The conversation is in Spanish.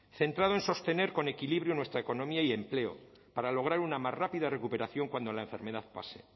centrado en sostener con equilibrio nuestra economía y empleo para lograr una más rápida recuperación cuando la enfermedad pase